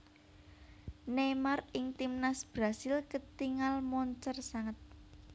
Neymar ing Timnas Brasil ketingal moncer sanget